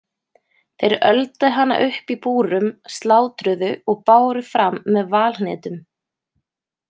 Þeir öldu hana upp í búrum, slátruðu og báru fram með valhnetum.